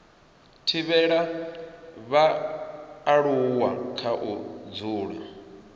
thivhela vhaaluwa kha u dzula